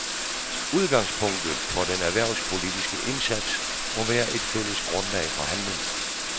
Udgangspunktet for den erhvervspolitiske indsats må være et fælles grundlag for handling.